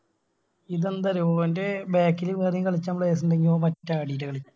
ഇതെന്താ അറിയോ ഓൻറെ Back ല് വേറെയും കളിക്കാൻ Players ഇണ്ടെങ്കിൽ ഓൻ പറ്റ കളില കളിക്ക